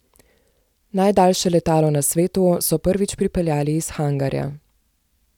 Najdaljše letalo na svetu so prvič pripeljali iz hangarja.